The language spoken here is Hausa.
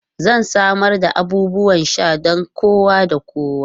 Zan samar da abubuwan sha don kowa da kowa.